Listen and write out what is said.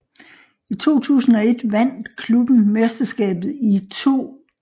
I 2001 vandt klubben mesterskabet i 2